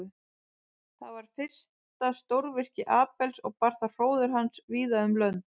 Þetta var fyrsta stórvirki Abels og bar það hróður hans víða um lönd.